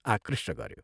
आकृष्ट गऱ्यो।